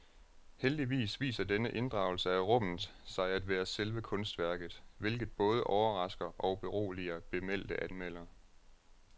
Heldigvis viser denne inddragelse af rummet sig at være selve kunstværket, hvilket både overrasker og beroliger bemeldte anmelder.